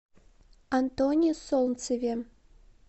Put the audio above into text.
антоне солнцеве